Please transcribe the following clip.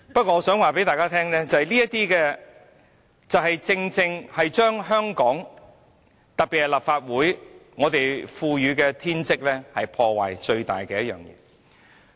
我想告訴大家，正正就是這種事情把香港、把立法會賦予我們的天職破壞殆盡。